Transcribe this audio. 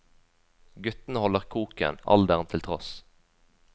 Guttene holder koken, alderen til tross.